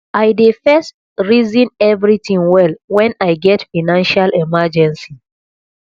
i dey first resin everytin well wen i get financial emergency